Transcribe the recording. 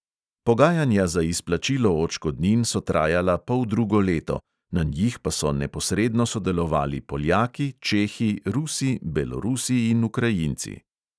Pogajanja za izplačilo odškodnin so trajala poldrugo leto, na njih pa so neposredno sodelovali poljaki, čehi, rusi, belorusi in ukrajinci.